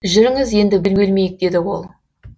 жүріңіз енді бөгелмейік деді ол